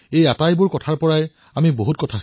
কথাৰে প্ৰকাশ কৰিবলৈ গলে এই সামৰ্থৰ নাম হল আত্মনিৰ্ভৰতা